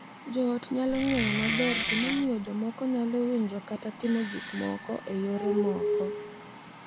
Jo ot nyalo ng’eyo maber gimomiyo jomoko nyalo winjo kata timo gik moko e yore moko,